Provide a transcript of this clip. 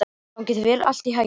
Gangi þér allt í haginn, Lundi.